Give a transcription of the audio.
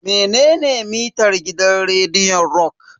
Menene mitar gidan rediyon rock?